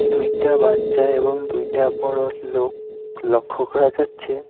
দুইটা বাচ্চা এবং দুইটা বড় লোক লক্ষ করা যাচ্ছে।